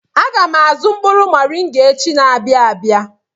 Aga m azụ mkpụrụ moringa echi na-abịa abịa.